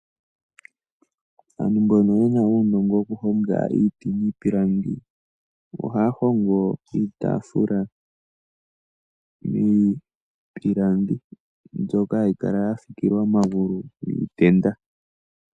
Aantu mbono yena uunongo wokuhonga iiti niipilangi ohaya hongo iitaafula miipilangi mbyoka hayi kala ya fikilwa omagulu giitenda.